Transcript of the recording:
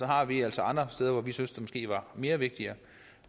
har vi altså andre steder hvor vi synes det måske var mere vigtigt